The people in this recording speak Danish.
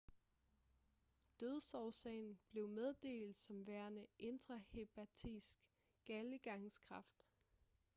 dødsårsagen blev meddelt som værende intrahepatisk galdegangskræft